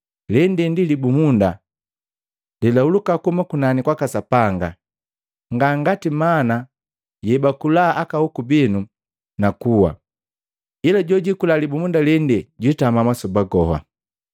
Lende ndi libumunda lelahuluka kuhuma kunani kwaka Sapanga, nga ngati mana yebakula aka hoku binu nakuwa. Ila jojikula libumunda lende juitama masoba goha.”